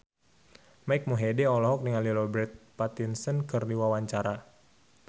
Mike Mohede olohok ningali Robert Pattinson keur diwawancara